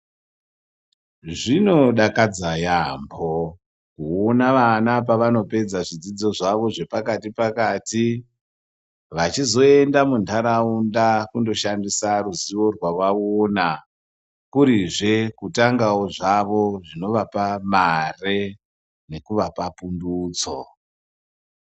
Zvinodakadza yaampho, kuona vana pevanopedza zvidzidzo zvavo zvepakati-nepakati. Vachizoenda muntharaunda kundoshandisa ruziwo rwevanenge vaona. Kuri zve kutangawo zvawo, zvinovapa mare nekuvapa pundutso.